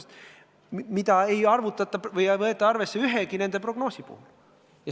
Seda väärtust ei arvutata ega võeta arvesse ühegi prognoosi puhul.